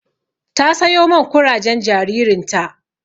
Ta sayo man kurajen jaririn ta.